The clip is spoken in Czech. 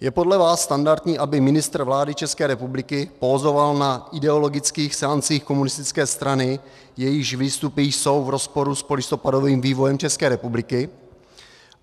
je podle vás standardní, aby ministr vlády České republiky pózoval na ideologických seancích komunistické strany, jejíž výstupy jsou v rozporu s polistopadovým vývojem České republiky?